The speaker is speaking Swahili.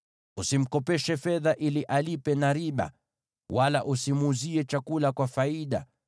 Usimkopeshe fedha ili alipe na riba, wala usimuuzie chakula kwa faida.